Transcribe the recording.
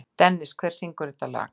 Dennis, hver syngur þetta lag?